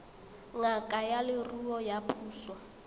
ngaka ya leruo ya puso